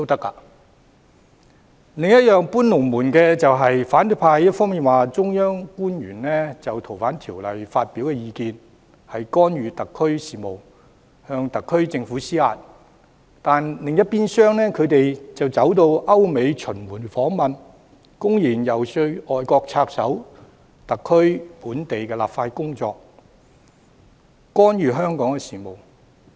反對派"搬龍門"的另一點是一方面指中央官員就《逃犯條例》發表意見是干預特區事務，向特區政府施壓，但另一邊廂，他們卻到歐美巡迴訪問，公然遊說外國插手特區的本地立法工作，干預香港事務。